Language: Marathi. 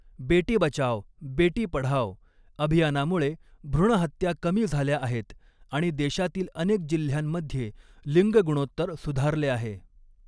बेटी बचाओ, बेटी पढ़ाओ अभियानामुळे भ्रूण हत्या कमी झाल्या आहेत आणि देशातील अनेक जिल्ह्यांमध्ये लिंग गुणोत्तर सुधारले आहे.